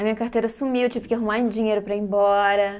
A minha carteira sumiu, tive que arrumar dinheiro para ir embora.